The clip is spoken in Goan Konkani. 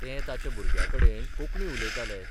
तें ताच्या भुरग्याकडेन कोंकणी उलयतालें.